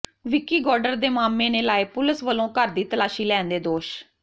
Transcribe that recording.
ਵਿੱਕੀ ਗੌ ਾਡਰ ਦੇ ਮਾਮੇ ਨੇ ਲਾਏ ਪੁਲਿਸ ਵਲੋਂ ਘਰ ਦੀ ਤਲਾਸ਼ੀ ਲੈਣ ਦੇ ਦੋਸ਼